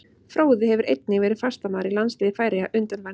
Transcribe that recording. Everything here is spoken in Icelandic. Fróði hefur einnig verið fastamaður í landsliði Færeyja undanfarin ár.